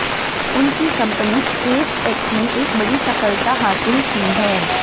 उनकी company SpaceX ने एक बड़ी सफलता हासिल की है